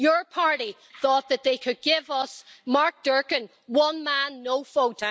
Your party thought that they could give us Mark Durkan one man, no vote.